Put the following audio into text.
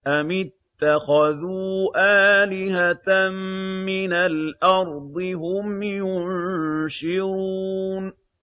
أَمِ اتَّخَذُوا آلِهَةً مِّنَ الْأَرْضِ هُمْ يُنشِرُونَ